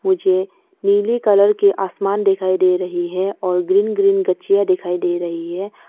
मुझे नीले कलर के आसमान दिखाई दे रही है और ग्रीन ग्रीन गछियाँ दिखाई दे रही है।